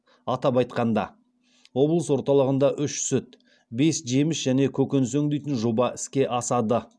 атап айтқанда облыс орталығында үш сүт бес жеміс және көкөніс өңдейтін жоба іске асады